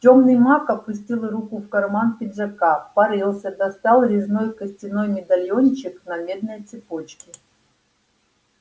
тёмный маг опустил руку в карман пиджака порылся достал резной костяной медальончик на медной цепочке